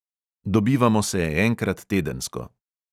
Dobivamo se enkrat tedensko.